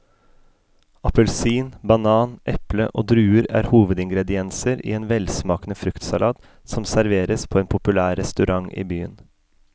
Appelsin, banan, eple og druer er hovedingredienser i en velsmakende fruktsalat som serveres på en populær restaurant i byen.